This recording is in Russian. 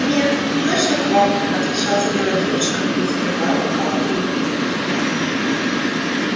нет точно к вам отвечала смелая девушка не скрывая лукавой улыбки